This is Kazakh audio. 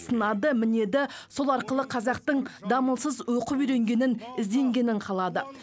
сынады мінеді сол арқылы қазақтың дамылсыз оқып үйренгенін ізденгенін қалады